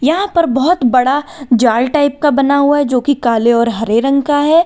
यहां पर बहुत बड़ा जाल टाइप का बना हुआ है जो कि काले और हरे रंग का है।